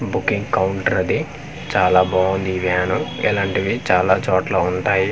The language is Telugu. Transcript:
బుకింగ్ కౌంటర్ అది చాలా బావుంది ఈ వ్యాను ఎలాంటివి చాలాచోట్ల వుంటాయి ఆ--